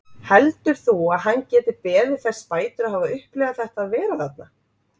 Heldur þú að hann geti beðið þess bætur að hafa upplifað þetta að vera þarna?